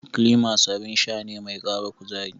Klimas abin sha ne mai ƙara kuzari.